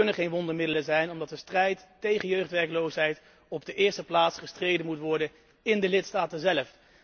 Het kunnen geen wondermiddelen zijn, omdat de strijd tegen jeugdwerkloosheid op de eerste plaats gestreden moet worden in de lidstaten zélf.